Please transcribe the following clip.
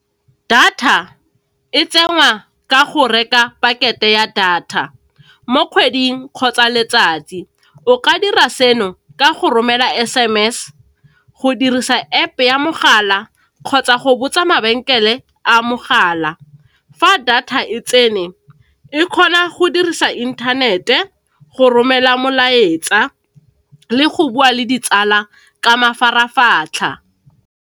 Data e tsenngwa ka go reka pakete ya data mo kgweding kgotsa letsatsi, o ka dira seno ka go romela S_M_S go dirisa App ya mogala kgotsa go botsa mabenkele a mogala. Fa data e tsene, e kgona go dirisa inthanete, go romela molaetsa le go bua le ditsala ka mafaratlhatlha.